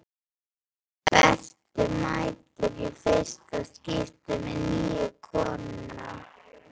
Berti mætir í fyrsta skipti með nýju konuna.